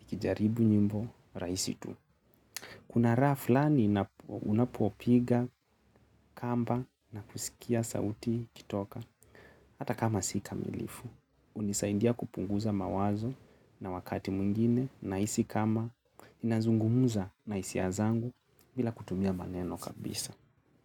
ikijaribu nyimbo, raisi tu. Kuna raha fulani unapo pigaga kamba na sauti ikitoka hata kama si kamilifu. Unisaindia kupunguza mawazo na wakati mwingine, nahisi kama, ninazungumuza na isia zangu, bila kutumia maneno kabisa.